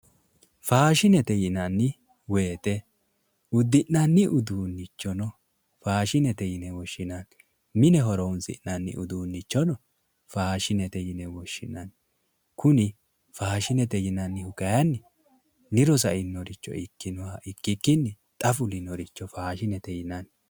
fashshinete yinanni woyte udi'nanni uduunnichono fashshinete yine woshshinanni mine horonsi'nanni uduunnichono fashshinete yine woshshinanni kuni faashshinete yinannihu kayiinni diru sa'inoha ikkinoha ikkikkini xa fulinoha faashinete yinanni.